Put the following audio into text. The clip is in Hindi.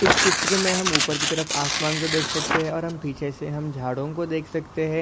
इस चित्र मे हम ऊपर की तरफ आसमान को देख सकते है और हम पीछे से हम झाड़ों को देख सकते है।